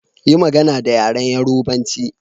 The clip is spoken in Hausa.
Yi magana da yaren Yorubanchi.